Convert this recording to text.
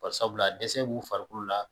Bari sabula dɛsɛ b'u farikolo la